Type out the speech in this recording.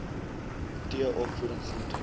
t opvoeding groente